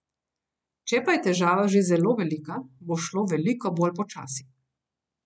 Če pa je težava že zelo velika, bo šlo veliko bolj počasi.